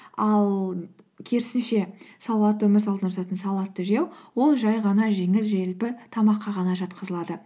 ал керісінше салауатты өмір салтына жататын салатты жеу ол жай ғана жеңіл желпі тамаққа ғана жатқызылады